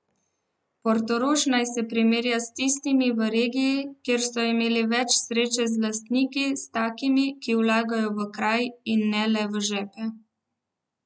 Portorož naj se primerja s tistimi v regiji, kjer so imeli več sreče z lastniki, s takimi, ki vlagajo v kraj in ne le v žepe!